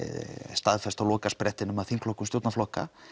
staðfest á lokasprettinum af þingflokkum stjórnarflokka